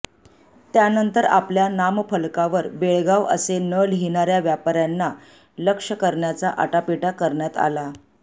त्यानंतर आपल्या नामफलकावर बेळगाव असे न लिहणार्या व्यापार्यांना लक्ष्य करण्याचा आटापिटा करण्यात आला